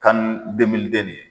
CAN nin